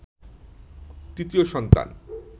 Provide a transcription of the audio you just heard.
৩য় সন্তান